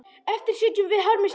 Eftir sitjum við harmi slegin.